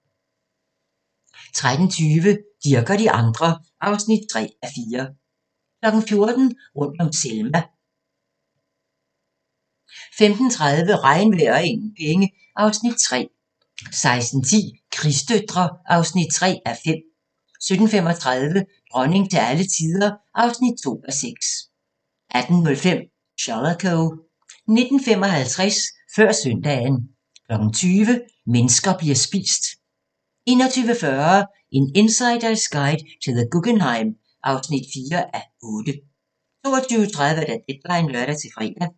13:20: Dirch og de andre (3:4) 14:00: Rundt om Selma 15:30: Regnvejr og ingen penge (Afs. 3) 16:10: Krigsdøtre (3:5) 17:35: Dronning til alle tider (2:6) 18:05: Shalako 19:55: Før søndagen 20:00: Mennesker bliver spist 21:40: En insiders guide til The Guggenheim (4:8) 22:30: Deadline (lør-fre)